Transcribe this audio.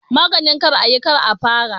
Maganin kar a yi, kar a fara